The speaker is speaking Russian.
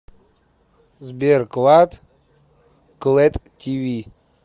сбер клад клэд ти ви